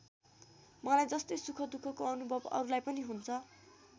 मलाई जस्तै सुखदुःखको अनुभव अरूलाई पनि हुन्छ।